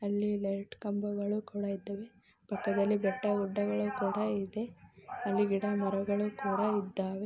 ಅಲ್ಲಿ ಲೈಟ್ ಕಂಬಗಳೂ ಕೂಡ ಇದ್ಧವೆ ಪಕ್ಕದಲ್ಲಿ ಬೆಟ್ಟ ಗುಡ್ಡಗಳು ಕೂಡ ಇದೆ ಅಲ್ಲಿ ಗಿಡ ಮರಗಳ್ಳು ಕೂಡ ಇದ್ಧಾವೆ.